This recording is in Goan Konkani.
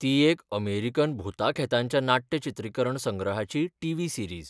ती एक अमेरिकन भुतांखेतांच्या नाट्य चित्रीकरण संग्रहाची टी. व्ही. सीरीज.